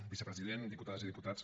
vicepresident diputades i diputats